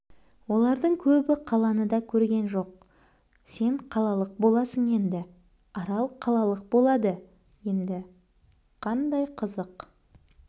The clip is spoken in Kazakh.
олардың көбі қаланы да көрген жоқ сен қалалық боласың еңді арал қалалық болады енді қандай қызық